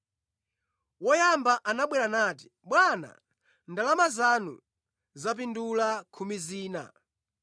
“Woyamba anabwera ndipo anati, ‘Bwana ndalama zanu zapindula khumi zina.’